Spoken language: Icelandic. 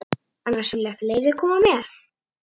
Annars vilja fleiri koma með.